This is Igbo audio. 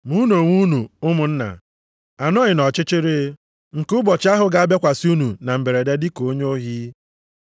Ma unu onwe unu, ụmụnna, anọghị nʼọchịchịrị, nke ụbọchị ahụ ga-abịakwasị unu na mberede dịka onye ohi.